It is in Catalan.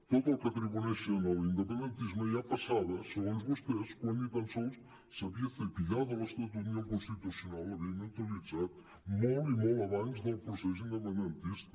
tot el que atribueixen a l’independentisme ja passava segons vostès quan ni tan sols s’ha·vien cepillado l’estatut ni el constitucional l’havia neutralitzat molt i molt abans del procés independentista